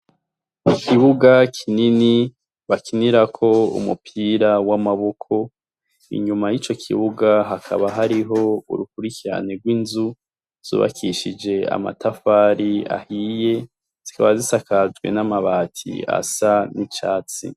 Ikibuga kinini bakinirako umupira w'amaboko, inyuma y'ico kibuga hakaba hariho urukuricyane rw'inzu zubakishije amatafari ahiye zikaba zisakajwe n'amabatii asa n'icatsi.